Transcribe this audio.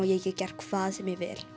ég get gert hvað sem ég vil